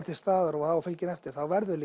til staðar og á að fylgja henni eftir þá verður